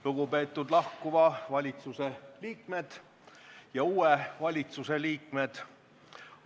Lugupeetud lahkuva valitsuse liikmed ja uue valitsuse liikmed!